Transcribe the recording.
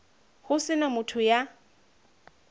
ho se na motho ya